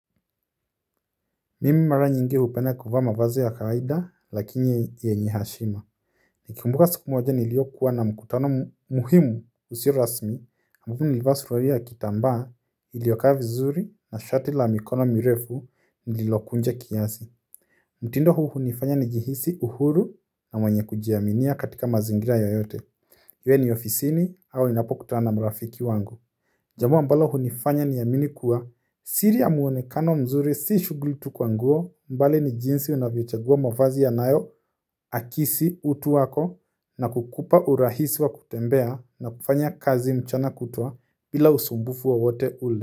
Mimi mara nyingi hupenda kuvaa mavazi ya kawaida lakini yenye heshima nikikumbuka siku moja niliyokuwa na mkutano muhimu usio rasmi na alafu nilivaa nilivaa suruali ya kitambaa iliyokaa vi zuri na shati la mikono mirefu nililokunja kiasi mtindo huu hunifanya nijihisi uhuru na mwenye kujiaminia katika mazingira yoyote iwe ni ofisini au ninapokutana na marafiki wangu jambo ambalo hunifanya niamini kuwa siri ya mwonekano mzuri si shughuli tu kwa nguo bali ni jinsi unavyochagua mavazi yanayoakisi utu wako na kukupa urahisi wa kutembea na kufanya kazi mchana kutwa bila usumbufu wa wowote ule.